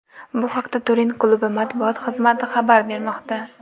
Bu haqda Turin klubi matbuot xizmati xabar bermoqda .